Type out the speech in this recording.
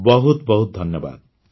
ବହୁତ ବହୁତ ଧନ୍ୟବାଦ